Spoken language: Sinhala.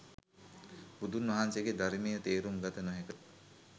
බුදුන් වහන්සේගේ ධර්මය තේරුම් ගත නොහැක